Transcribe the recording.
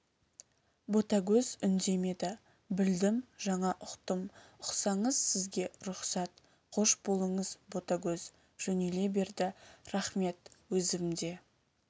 ботагөз үндемеді білдім жаңа ұқтым ұқсаңыз сізге рұқсат қош болыңыз ботагөз жөнеле берді рахмет өзім де